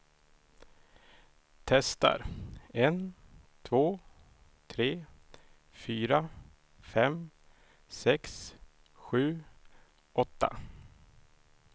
Testar en två tre fyra fem sex sju åtta.